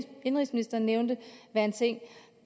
indenrigsministeren nævnte være en ting